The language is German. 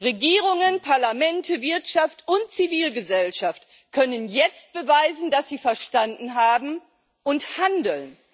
Regierungen, Parlamente, Wirtschaft und Zivilgesellschaft können jetzt beweisen, dass sie verstanden haben und handeln.